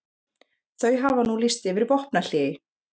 Þau hafa nú lýst yfir vopnahléi